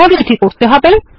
এভাবে এটি করতে হবে